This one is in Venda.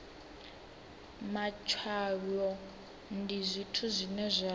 matshwayo ndi zwithu zwine zwa